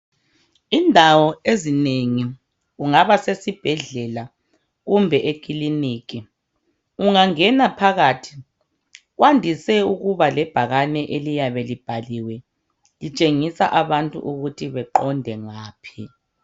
Indawo ezinengi kungaba sesibhedlela kumbe ekiliniki ungangena phakathi kwandise ukuba lebhakane eliyabe libhaliwe litshengisa abantu ukuthi beqonde ngaphi.